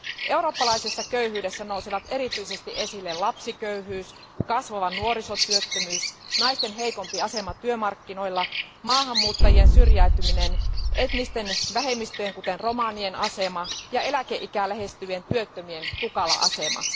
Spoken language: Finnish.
Eurooppalaisessa köyhyydessä nousevat erityisesti esille lapsiköyhyys, kasvava nuorisotyöttömyys, naisten heikompi asema työmarkkinoilla, maahanmuuttajien syrjäytyminen, etnisten vähemmistöjen, kuten romanien asema, ja eläkeikää lähestyvien työttömien tukala asema.